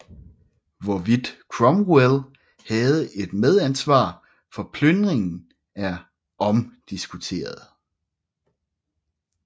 Hvorvidt Cromwell havde et medansvar for plyndringen er omdiskuteret